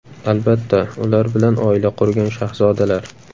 Albatta, ular bilan oila qurgan shahzodalar.